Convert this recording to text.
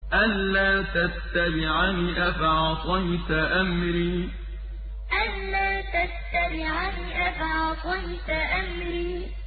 أَلَّا تَتَّبِعَنِ ۖ أَفَعَصَيْتَ أَمْرِي أَلَّا تَتَّبِعَنِ ۖ أَفَعَصَيْتَ أَمْرِي